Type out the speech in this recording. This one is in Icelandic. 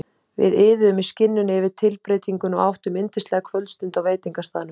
Við iðuðum í skinninu yfir tilbreytingunni og áttum yndislega kvöldstund á veitingastaðnum.